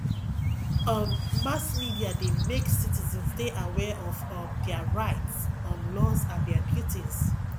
um mass media de make citizens de aware of um their rights um laws and their duties